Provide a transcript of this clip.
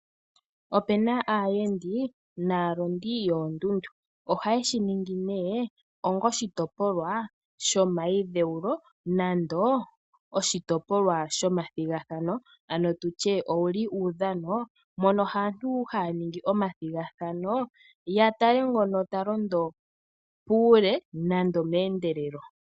Opuna aayendi naalondi yoondundu oha yeshi ningi nee onga oshitopolwa shomayidhewulo nenge oshitopolwa shomathigathana, ano tutye owuli uudhano mono aantu haya ningi omathigathano, ya tale ngono ta londo puule, nande meendelelo.